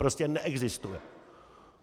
Prostě neexistuje.